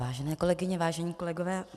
Vážené kolegyně, vážení kolegové.